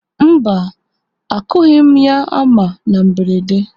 Mba, akụghị m ya hama na mberede.